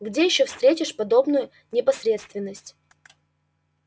где ещё встретишь подобную непосредственность